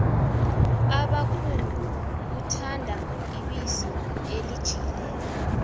ubamkhulu uthanda ibisi elijiyileko